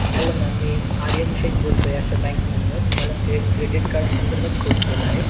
hello mam मीआर्यन शेख बोलतोय Asha bank मधनं तुम्हाला credit card संदर्भात फोन केला आहे